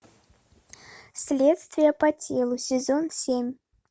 следствие по телу сезон семь